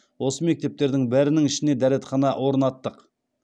осы мектептердің бәрінің ішіне дәретхана орнаттық